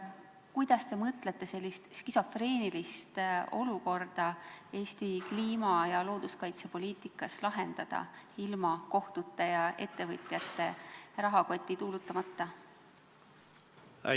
Kuidas te mõtlete sellist skisofreenilist olukorda Eesti kliima- ja looduskaitsepoliitikas lahendada ilma kohtute abita ja ettevõtjate rahakotti tuulutamata?